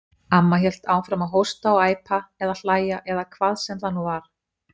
Amma hélt áfram að hósta og æpa, eða hlæja, eða hvað sem það nú var.